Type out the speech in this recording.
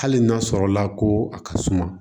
Hali n'a sɔrɔ la ko a ka suma